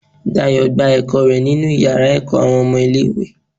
Dayo gbà ẹkọ rẹ nínú iyàrá ẹkọ awọn ọmọ ilẹ̀ ìwé